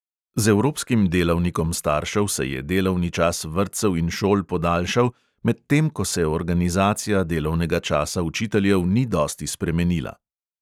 Z evropskim delavnikom staršev se je delovni čas vrtcev in šol podaljšal, medtem ko se organizacija delovnega časa učiteljev ni dosti spremenila.